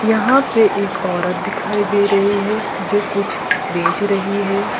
यहां पे एक औरत दिखाई दे रही है जो कुछ बेच रही है।